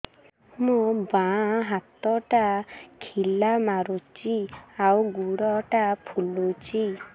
ମୋ ବାଆଁ ହାତଟା ଖିଲା ମାରୁଚି ଆଉ ଗୁଡ଼ ଟା ଫୁଲୁଚି